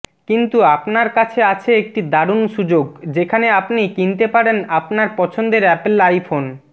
কিন্তু আপনার কাছে আছে একটি দারুন সুযোগ যেখানে আপনি কিনতে পারেন আপনার পছন্দর অ্যাপল আইফোন